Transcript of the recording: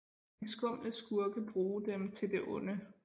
De skumle skurke bruge dem til det onde